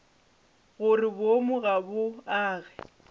gore boomo ga bo age